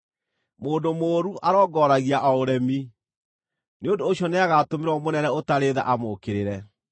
Mũndũ mũũru arongooragia o ũremi; nĩ ũndũ ũcio nĩagatũmĩrwo mũnene ũtarĩ tha amũũkĩrĩre.